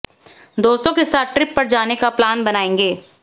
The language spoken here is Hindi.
दोस्तों के साथ ट्रिप पर जाने का प्लान बनायेंगे